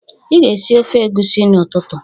"Ị ga-esi ofe egwusi n'ụtụtụ"